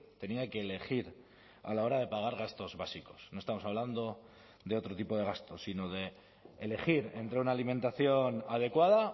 tenía que elegir a la hora de pagar gastos básicos no estamos hablando de otro tipo de gastos sino de elegir entre una alimentación adecuada